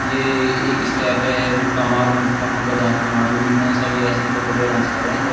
ये एक स्टेप है। मुक्का मारो मुक्का मुँह पे दाँत में मार दूँगी मैं। ये सभी ऐसे बहोत बढ़िया डांस कर रहे हैं लोग --